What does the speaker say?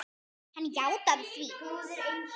Hann jánkaði því.